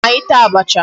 Bịa ka anyị taa abacha.